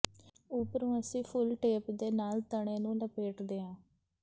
ਉਪਰੋਂ ਅਸੀਂ ਫੁੱਲ ਟੇਪ ਦੇ ਨਾਲ ਤਣੇ ਨੂੰ ਲਪੇਟਦੇ ਹਾਂ